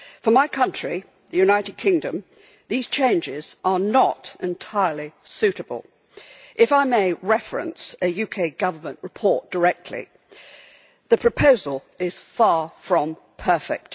For my country, the United Kingdom, these changes are not entirely suitable. If I may reference a UK government report directly, the proposal is far from perfect.